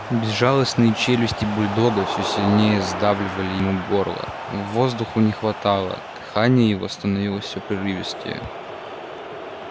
безжалостные челюсти бульдога всё сильнее сдавливали ему горло воздуху не хватало дыхание его становилось всё прерывистее